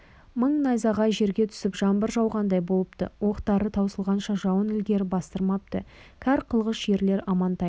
мың найзағай жерге түсіп жаңбыр жауғандай болыпты оқтары таусылғанша жауын ілгері бастырмапты кәр қылғыш ерлер амантайды